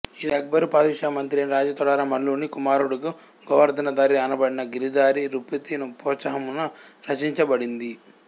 ఇది అక్బరు ఫాధుషామంత్రియైన రాజాతోడర మల్లుని కుమారుడగు గోవర్ధనధారి అనబడిన గిరిధారి నృపతి ప్రోత్సాహమున రచించబడింది